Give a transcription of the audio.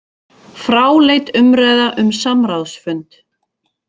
Fráleit umræða um samráðsfund